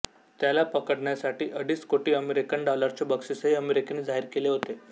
त्याला पडकण्यासाठी अडीच कोटी अमेरिकन डॉलरचे बक्षीसही अमेरिकेने जाहीर केले होते